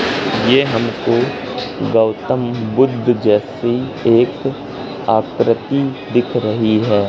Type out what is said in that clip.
ये हमको गौतम बुद्ध जैसी एक आकृति दिख रही है।